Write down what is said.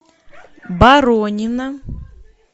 баронина